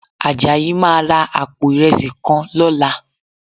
Àjàyí máa ra àpò ìrẹsì kan lọ́la